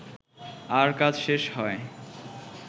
আর কাজ শেষ হয়